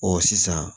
Ɔ sisan